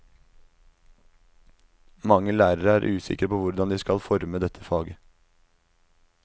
Mange lærere er usikre på hvordan de skal forme dette faget.